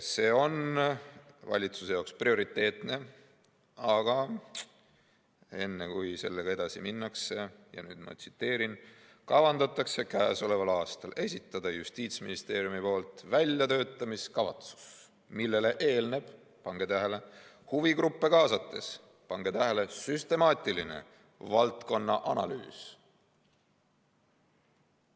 See on valitsuse jaoks prioriteetne, aga enne, kui sellega edasi minnakse – ja nüüd ma tsiteerin – "kavandatakse käesoleval aastal esitada Justiitsministeeriumi poolt väljatöötamiskavatsus, millele eelneb huvigruppe kaasates süstemaatiline valdkonna analüüs.